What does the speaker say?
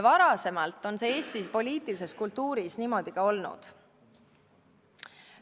Varem on see Eesti poliitilises kultuuris niimoodi ka olnud.